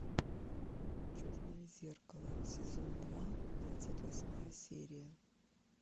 черное зеркало сезон два двадцать восьмая серия